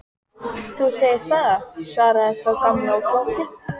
Þú segir það, svaraði sá gamli og glotti.